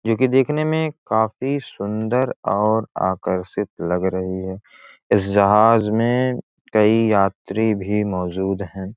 जो की देखने में काफी सुन्दर और आकर्षित लग रही है इस जहाज मे कई यात्री भी मौजूद हैं।